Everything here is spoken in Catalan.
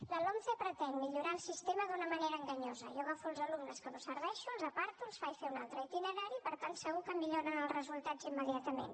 la lomce pretén millorar el sistema d’una manera enganyosa jo agafo els alumnes que no serveixen els aparto els faig fer un altre itinerari per tant segur que milloren els resultats immediatament